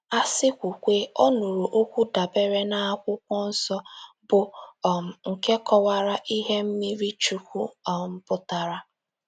A sị kwuwe, ọ nụrụ okwu dabeere n' akwụkwọnsọ, bụ́ um nke kọwara ihe mmmirichukwu um pụtara..